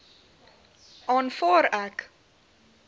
aanvaar ek